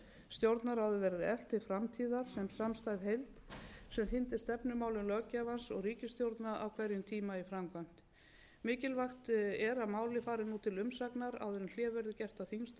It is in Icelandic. stjórnarráðið verði eflt til framtíðar sem samstæð heild sem hrindi stefnumálum löggjafans og ríkisstjórna á hverjum tíma í framkvæmd mikilvægt er að málið fari nú til umsagna áður en hlé verður gert á þingstörfum þannig að umsagnaraðilum gefist góður tími til að